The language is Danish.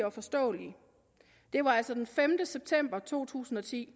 og forståelige det var altså den sjette september to tusind og ti